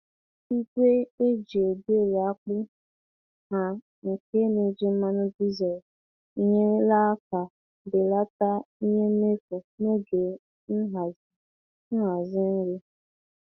Igwe e ji egweri akpu ha nke na-eji mmanụ dizel enyerela aka belata ihe mmefu n'oge nhazi nhazi nri.